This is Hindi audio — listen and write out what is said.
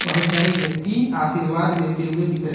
बहुत सारे व्यक्ति आशीर्वाद लेते हुए दिख--